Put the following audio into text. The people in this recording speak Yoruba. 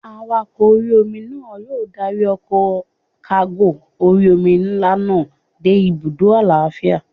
Awakọ̀ orí-omi náà yóò dárí ọkọ̀ kágò orí-omi nlá náà dé ibùdó lálàáfíà